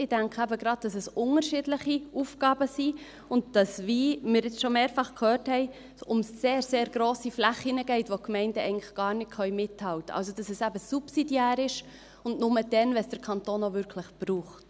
Ich denke eben gerade, dass es unterschiedliche Aufgaben sind und dass es – wie wir jetzt schon mehrfach gehört haben – um sehr grosse Flächen geht, wo die Gemeinden eigentlich gar nicht mithalten können, dass es also subsidiär ist und nur dann, wenn der Kanton es auch wirklich braucht.